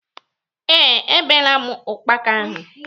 Ee, E beela m ukpaka ahụ.